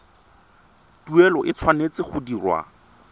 tuelo e tshwanetse go dirwa